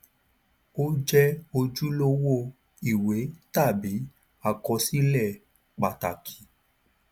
ó jẹ ojúlówó ìwé tàbí àkọsílẹ pàtàkì